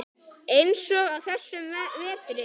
Eins og á þessum vetri.